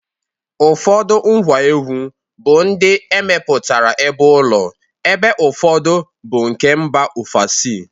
Ụfọdụ ngwa egwu bụ ndị emeputara ebeụlọ ebe ụfọdụ bụ nke mba ofesi.